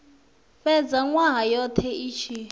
fhedza nwaha wothe i tshi